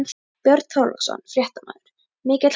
Björn Þorláksson, fréttamaður: Mikill hávaði?